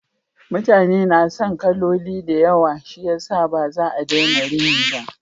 Mutane na son kaloli da yawa shiyasa ba za a daina rini ba.